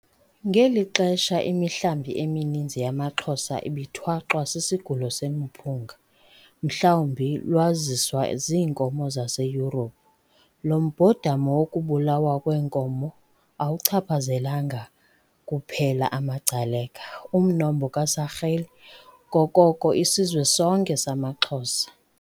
Ngeli xesha imihlambi emininzi yamaXhosa ibithwaxwa " sisigulo semiphunga ", mhlawumbi lwaziswa ziinkomo zaseYurophu. Lo mbhodamo wokubulawa kweenkomo awuchaphazelanga kuphela amaGcaleka, umnombo kaSarili, koko isizwe sonke samaXhosa.